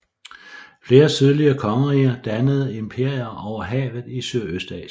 Flere sydlige kongeriger dannede imperier over havet i Sydøstasien